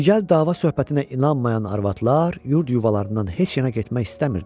Digər dava-söhbətinə inanmayan arvadlar yurd-yuvalarından heç yana getmək istəmirdilər.